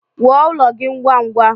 Wuo ụlọ gị ngwá ngwá